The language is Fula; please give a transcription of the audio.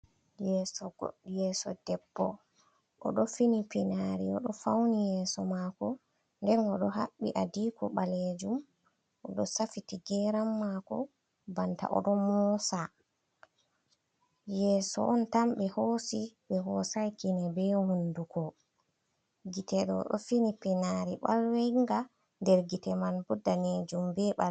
Yeso debbo oɗo fini pinari oɗo fauni yeso mako, nden o do haɓɓi adiko balejum, odo safiti geram mako banta oɗo mosa, yeso on tambe hosi be hosai kine be hunduko gite ɗo ɗo fini pinari balwenga, nder gite man bo danejum beala.